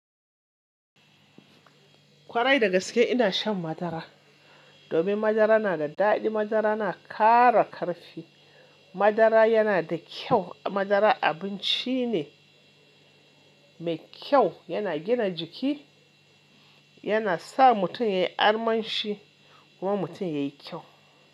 Kwarai, dagaske ina shan madara. Domin madara na da daɗi, madara na ƙara ƙarfi. Madara yana da kyau. Madara abinci ne mai kyau, yana gina jiki, yana sa mutum yayi armanshi kuma mutum yayi kyau.